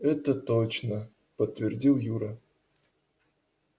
это точно подтвердил юра